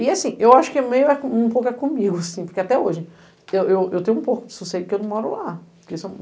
E assim, eu acho meio que é um pouco comigo, assim, porque até hoje eu eu eu tenho um pouco de sossego porque eu não moro lá. Porque se eu